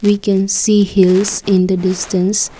we can see hills in the distance.